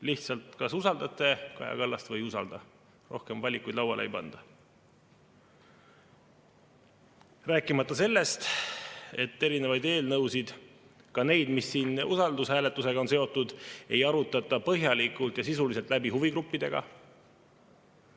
Lihtsalt, kas usaldate Kaja Kallast või ei usalda – rohkem valikuid lauale ei panda, rääkimata sellest, et erinevaid eelnõusid, ka neid, mis siin usaldushääletusega on seotud, ei arutata põhjalikult ja sisuliselt huvigruppidega läbi.